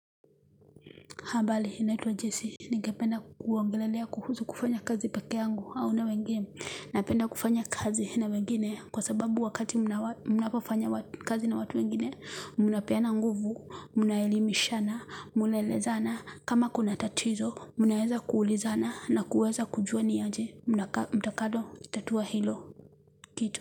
Habari, naitwa Jesse, ningependa kuongelelea kuhusu kufanya kazi pekee yangu, au na wengine, napenda kufanya kazi na wengine, kwa sababu wakati mnapofanya kazi na watu wengine, mnapeana nguvu, mnaelimishana, mnnaelezana, kama kuna tatizo, mnaweza kuulizana, na kuweza kujua ni aje, mtakado, tatua hilo, kitu.